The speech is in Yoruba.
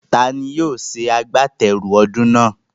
Taani yóò ṣe àgbátẹrù ọdún náà?